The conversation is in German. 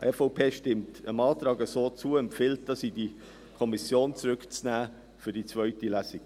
Die EVP stimmt dem Antrag so zu und empfiehlt, dies in die Kommission zurückzunehmen für die zweite Lesung.